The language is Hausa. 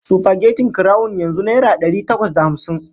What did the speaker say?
Supagetin kurawun yanzu naira dari takwas da hamsin.